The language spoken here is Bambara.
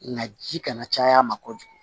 Nka ji kana caya a ma kojugu